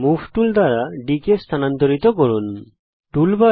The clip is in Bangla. মুভ টুলের ব্যবহার করে ত্রিভুজ বরাবর বিন্দু D কে স্থানান্তরিত করুন